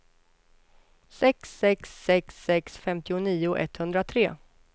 sex sex sex sex femtionio etthundratre